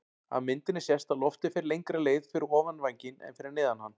Af myndinni sést að loftið fer lengri leið fyrir ofan vænginn en fyrir neðan hann.